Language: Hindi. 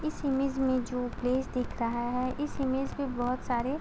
इस इमेज में जो प्लेस दिख रहा है। इस इमेज में बहुत सारे --